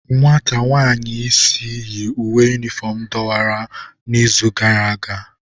Nwata nwanyị isi yi uwe yunifọm dọwara n'izi gara aga